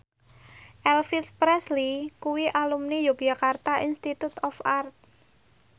Elvis Presley kuwi alumni Yogyakarta Institute of Art